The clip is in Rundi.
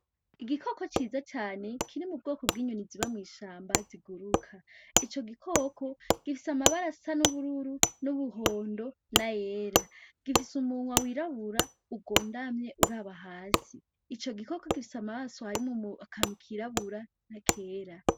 Igikoko ciza cane kiri mu bwoko bw'inyoni ziba mw'ishamba ziguruka. Ico gikoko gifise amabara asa n'ubururu, n'umuhondo nayera gifise umunwa wirabura ugondamye uraba hasi. Ico gikoko gifise amaso harimwo akantu kirabura n'akera.